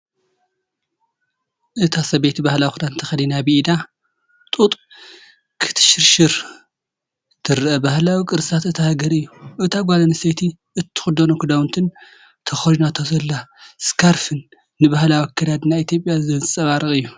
እታ ሰበይቲ ባህላዊ ክዳን ተኸዲና ብኢዳ (ኣብ ስፒንደል) ጡጥ ክትሽርሽር ትረአ። ባህላዊ ቅርስታት እታ ሃገር እዩ። እታ ጓል ኣንስተይቲ እትኽደኖ ክዳውንትን ተኸዲናቶ ዘላ ስካርፍን ንባህላዊ ኣከዳድና ኢትዮጵያ ዘንጸባርቕ እዩ።